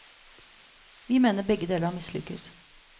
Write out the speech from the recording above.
Vi mener begge deler har mislykkes.